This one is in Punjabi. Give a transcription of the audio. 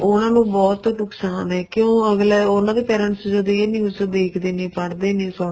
ਉਹਨਾ ਨੂੰ ਬਹੁਤ ਨੁਕਸ਼ਾਨ ਏ ਕਿਉਂ ਅੱਗਲਾ ਉਹਨਾ ਦੇ parents ਜਦ ਇਹ news ਦੇਖਦੇ ਨੇ ਪੜਦੇ ਨੇ ਸੁਣ